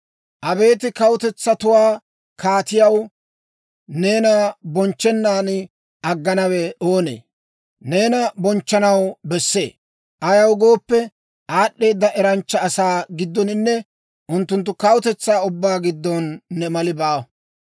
Abeet kawutetsatuwaa Kaatiyaw, neena bonchchennaan agganawe oonee? Neena bonchchanaw bessee; ayaw gooppe, aad'd'eeda eranchcha asaa giddoninne unttunttu kawutetsaa ubbaa giddon ne mali baawa.